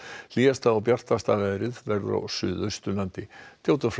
hlýjasta og bjartasta veðrið verður á Suðausturlandi Theodór Freyr